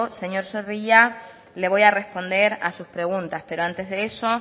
señor zorrilla le voy a responder a sus preguntas pero antes de eso